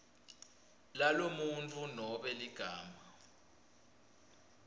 lalomuntfu nobe ligama